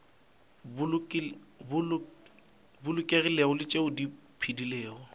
bolokegilego le tšeo di phedilego